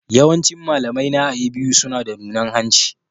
Yawancin malamaina a A.B.U suna da nunan hanci.